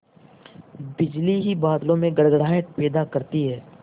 बिजली ही बादलों में गड़गड़ाहट पैदा करती है